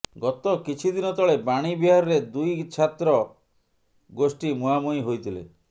ଗତ କିଛିଦିନ ତଳେ ବାଣୀବିହାରରେ ଦୁଇ ଛାତ୍ର ଗୋଷ୍ଠୀ ମୁହାଁମୁହିଁ ହୋଇଥିଲେ